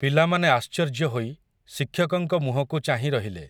ପିଲାମାନେ ଆଶ୍ଚର୍ଯ୍ୟ ହୋଇ, ଶିକ୍ଷକଙ୍କ ମୁହଁକୁ ଚାହିଁ ରହିଲେ ।